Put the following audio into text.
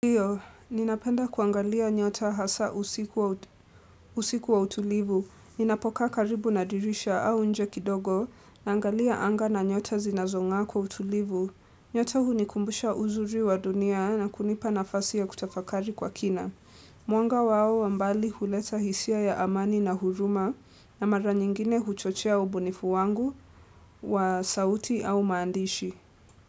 Ndiyo, ninapenda kuangalia nyota hasa usiku wa utulivu. Ninapokaa karibu na dirisha au nje kidogo naangalia anga na nyota zinazonga kwa utulivu. Nyota hunikumbusha uzuri wa dunia na kunipa nafasi ya kutafakari kwa kina. Mwanga wao wa mbali huleta hisia ya amani na huruma na mara nyingine huchochea ubunifu wangu wa sauti au maandishi.